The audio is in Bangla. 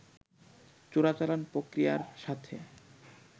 চোরাচালান প্রক্রিয়ার সাথে